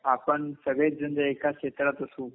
आपण सगळेजण जर एका क्षेत्रात असू